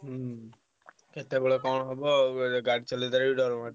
ହୁଁ କେତବେଳେ କଣ ହବ ବୋଇଲେ ଗାଡି ଚଳେଇତେରେ ବି ଡ଼ର ମାଡୁଛି।